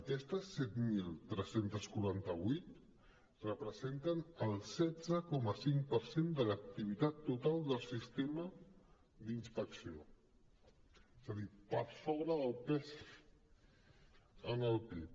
aquestes set mil tres cents i quaranta vuit representen el setze coma cinc per cent de l’activitat total del sistema d’inspecció és a dir per sobre del pes en el pib